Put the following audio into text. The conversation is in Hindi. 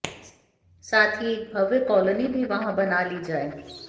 साथ ही एक भव्य कॉलोनी भी वहाँ बना ली जाए